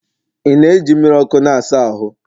ị na-eji mmiri ọkụ na-asa ahụ?